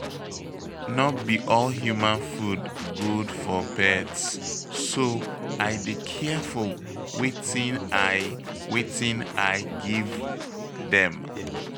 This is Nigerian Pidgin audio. No be all human food good for pets, so I dey careful wetin I wetin I give dem.